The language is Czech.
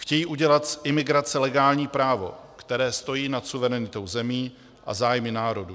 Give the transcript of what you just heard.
Chtějí udělat z imigrace legální právo, které stojí nad suverenitou zemí a zájmy národů.